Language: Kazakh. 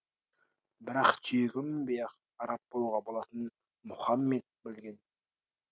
бірақ түйеге мінбей ақ араб болуға болатынын мұхаммед білген